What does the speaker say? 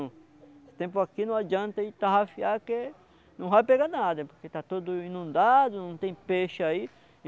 Esse tempo aqui não adianta a gente tarrafiar que não vai pegar nada, porque está tudo inundado, não tem peixe aí.